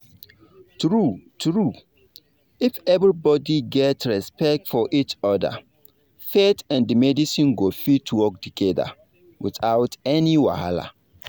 true true if everybody get respect for each other faith and medicine go fit work together without any wahala.